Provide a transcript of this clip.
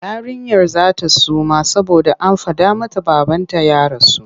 Yarinyar za ta suma saboda an faɗa mata babanta ya rasu.